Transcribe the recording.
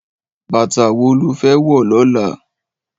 Bàtá wó ló fè wò lòlá?